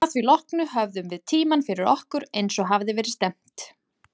Að því loknu höfðum við tímann fyrir okkur, eins og að hafði verið stefnt.